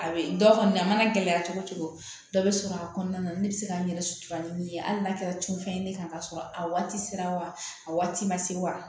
A bɛ dɔ kɔni a mana gɛlɛya cogo cogo dɔ bɛ sɔrɔ a kɔnɔna na ne bɛ se ka n yɛrɛ sutura ni min ye hali n'a kɛra cunfɛn ye ne kan k'a sɔrɔ a waati sera wa a waati ma se wa